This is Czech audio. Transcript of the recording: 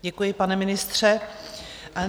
Děkuji, pane ministře.